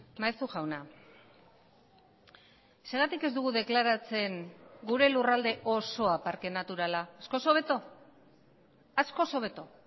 maeztu jauna zergatik ez dugu deklaratzen gure lurralde osoa parke naturala askoz hobeto askoz hobeto